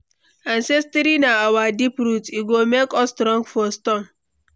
Ancestry na our deep root, e go make us strong for storm.